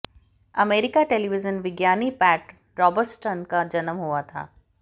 अमेरिकी टेलीविजन विज्ञानी Pat Robertson का जन्म हुआ था